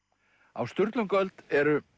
á Sturlungaöld eru